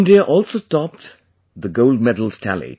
India also topped the Gold Medals tally